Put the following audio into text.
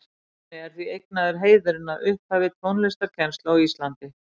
Jóni er því eignaður heiðurinn að upphafi tónlistarkennslu á Íslandi.